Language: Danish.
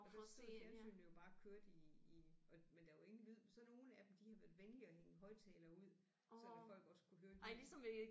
Og der stod fjernsynene jo bare og kørte i i og men der var ingen lyd så nogle af dem de havde været venlige at hænge en højtaler ud sådan at folk også kunne høre lyden